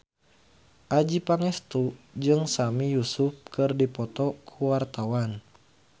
Adjie Pangestu jeung Sami Yusuf keur dipoto ku wartawan